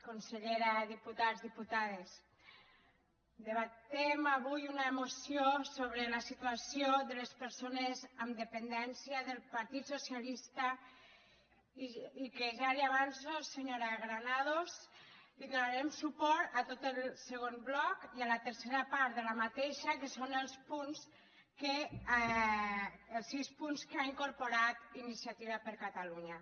consellera diputats diputades debatem avui una moció sobre la situació de les persones amb dependència del partit socialista i que ja li avanço senyora granados que donarem suport a tot el segon bloc i a la tercera part d’aquesta que són els punts els sis punts que ha incorporat iniciativa per catalunya